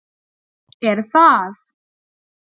Er það?